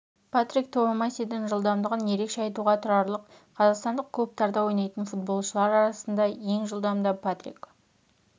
патрик твумасидің жылдамдығын ерекше айтуға тұрарлық қазақстандық клубтарда ойнайтын футболшылар арасында ең жылдамы да патрик